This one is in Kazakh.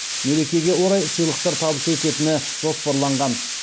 мерекеге орай сыйлықтар табыс ететіні жоспарланған